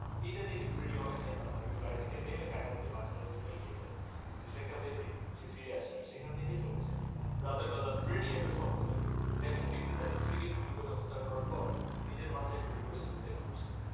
এইটা দেখে ফ্রেড্ডি অনেক হাইপার হয়ে এবং গাড়ি থেকে কায়েনাথ কে বাঁচানোর জন্যে এগিয়ে যায় কিন্তু কিছু একটা ভেবে সে এখন থেকে ফিরে আসে আর চলে যায় রাতে বেলা ফ্রেড্ডির বাক্য স্বপ্ন দেখে একজন বেক্তি তার স্ত্রী কে হত্যা করার পর নিজের মাথায় গুলি করে সুসাইড করে মরছে